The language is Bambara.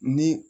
Ni